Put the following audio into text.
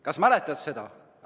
Kas sa mäletad seda?